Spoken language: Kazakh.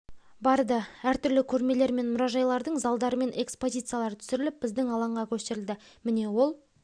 барды әр түрлі көрмелер және мұражайлардың залдары мен экспозициялары түсіріліп біздің алаңға көшірілді міне ол